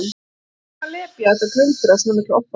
Hvað var hann að lepja þetta glundur af svona miklu offorsi!